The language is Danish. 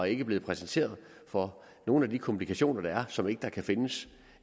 ikke blevet præsenteret for nogen af de komplikationer der er som der ikke kan findes